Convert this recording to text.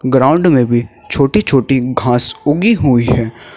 Ground में भी छोटी छोटी घास उगी हुई है।